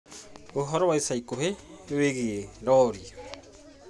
Ũhoro wa ica ikuhĩ wĩgiĩ rori